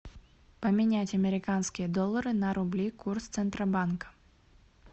поменять американские доллары на рубли курс центробанка